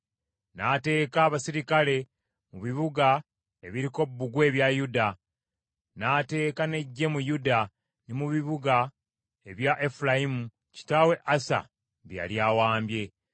N’ateeka abaserikale mu bibuga ebiriko bbugwe ebya Yuda, n’ateeka n’eggye mu Yuda, ne mu bibuga ebya Efulayimu, kitaawe Asa bye yali awambye.